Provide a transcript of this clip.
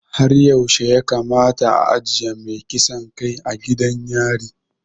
Har yaushe ya kamata a ajiye mai kisan kai a gidan yari?